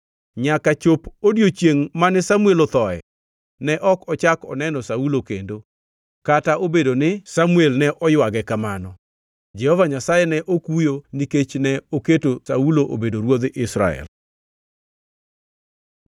Nyaka chop odiechiengʼ mane Samuel othoe, ne ok ochako oneno Saulo kendo, kata obedo ni Samuel ne oywage kamano. Jehova Nyasaye ne okuyo nikech ne oketo Saulo obedo ruodh Israel.